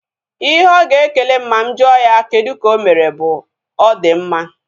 Ihe ọ ga ekele m ma mụ jụọ ya kedụ ka ịmere bụ; ọ di mma